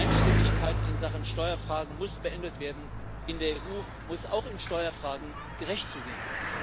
Die Einstimmigkeit in Sachen Steuerfragen muss beendet werden. In der EU muss es auch in Steuerfragen gerecht zugehen.